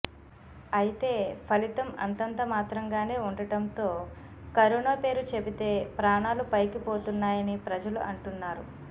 అయితే ఫలితం అంతంత మాత్రంగానే ఉండటంతో కరోనా పేరు చెబితె ప్రాణాలు పైకిపోతున్నాయని ప్రజలు అంటున్నారు